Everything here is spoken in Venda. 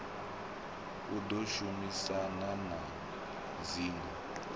i ḓo shumisana na dzingo